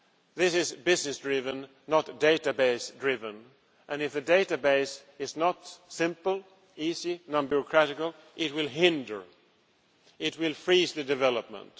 This is business driven not database driven, and if the database is not simple, easy, non bureaucratic, it will hinder, it will freeze the development.